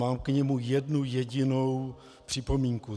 Mám k němu jednu jedinou připomínku.